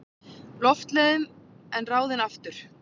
Loftleiðum en ráðinn aftur.